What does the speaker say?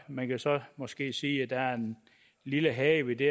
man kan så måske sige at der er en lille hage ved det